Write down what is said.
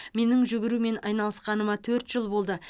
менің жүгірумен айналысқаныма төрт жыл болды